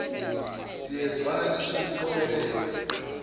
siyezwana lisho liqobela